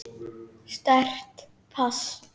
Sterkt pass.